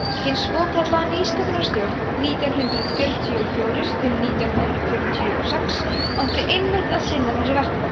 hin svokallaða nýsköpunarstjórn nítján hundrað fjörutíu og fjórir til nítján hundrað fjörutíu og sex átti einmitt að sinna þessu verkefni